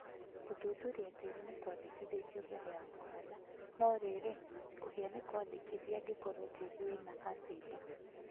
Gũthuthuria tĩĩri ni kwandĩkithĩtio mbere ya kũhanda, no rĩrĩ, kũhĩa nĩ kwandĩkithie angĩkorwo tĩĩri wĩna acĩdi